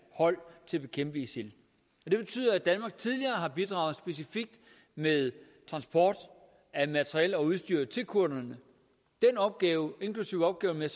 hold til at bekæmpe isil det betyder at danmark tidligere har bidraget med transport af materiel og udstyr specifikt til kurderne den opgave inklusive opgaven med